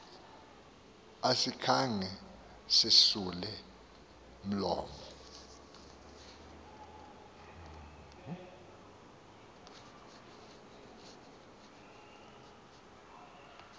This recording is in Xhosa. asikhange sisule mlomo